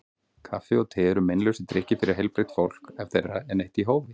Kaffi og te eru meinlausir drykkir fyrir heilbrigt fólk ef þeirra er neytt í hófi.